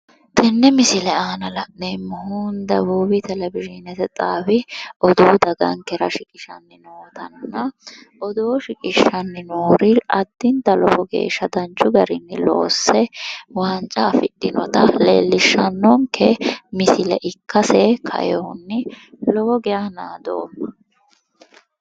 Tene misile aanna la'neemohu debuubi televizhinete xaawi odoo dagankera shiqqishanni nootanna odoo shiqqqishanni noori addinta lowo geesha danchu garinni loosse waanca afidhinota leellishano misile ikkase kaeewohunni lowo geeya naadoma.